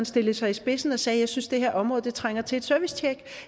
stillede sig i spidsen og sagde jeg synes at det her område trænger til et servicetjek